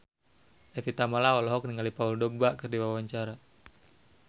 Evie Tamala olohok ningali Paul Dogba keur diwawancara